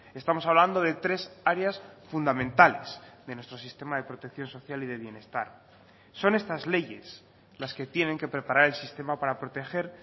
estamos hablando de tres áreas fundamentales de nuestro sistema de protección social y de bienestar son estas leyes las que tienen que preparar el sistema para proteger